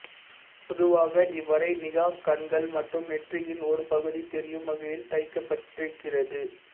பொதுவாக இவ்வரை நிகாப் கண்கள் மற்றும் நெற்றியின் ஒரு பகுதி தெரியும் வகையில் தைக்கப்பட்டிருக்கிறது